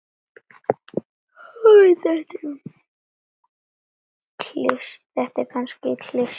Þetta er kannski klisja.